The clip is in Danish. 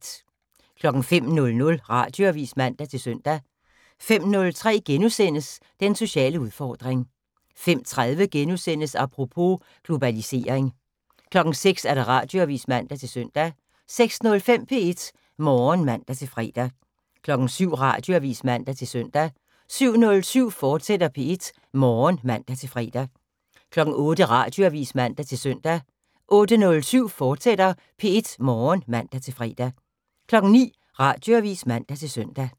05:00: Radioavis (man-søn) 05:03: Den sociale udfordring * 05:30: Apropos - Globalisering * 06:00: Radioavis (man-søn) 06:05: P1 Morgen (man-fre) 07:00: Radioavis (man-søn) 07:07: P1 Morgen, fortsat (man-fre) 08:00: Radioavis (man-søn) 08:07: P1 Morgen, fortsat (man-fre) 09:00: Radioavis (man-søn)